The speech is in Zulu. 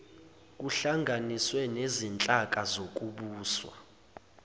kuhlanganiswe nezinhlaka zokubusa